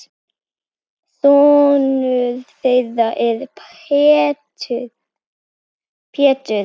Sonur þeirra er Pétur.